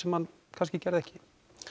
sem hann gerði ekki